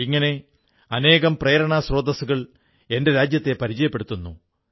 ഇങ്ങനെ അനേകം പ്രേരണാസ്രോതസ്സുകൾ എന്റെ രാജ്യത്തെ പരിചയപ്പെടുത്തുന്നു